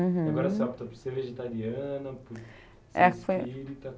uhum. Agora você opta por ser vegetariana, por ser espírita. É foi